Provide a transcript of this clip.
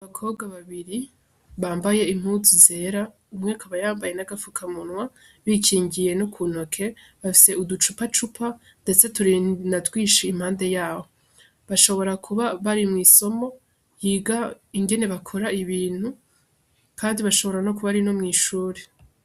Abakobwa babiri bambaye impuzu zera, umwe akaba yambaye n'agapfukamunwa, bikingiye no ku ntoke, bafise uducupacupa ndetse turi na twinshi impande yabo. Bashobora kuba bari mw'isomo yiga ingene bakora ibintu kandi bashobora no kuba ari no mw'ishuri.